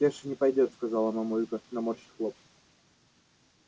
кеша не пойдёт сказала мамулька наморщив лоб